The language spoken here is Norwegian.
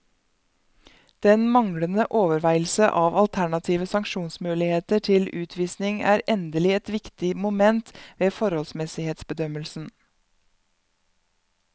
Den manglende overveielse av alternative sanksjonsmuligheter til utvisning er endelig et viktig moment ved forholdsmessighetsbedømmelsen.